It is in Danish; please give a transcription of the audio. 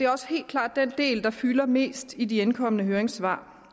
også helt klart den del der fylder mest i de indkomne høringssvar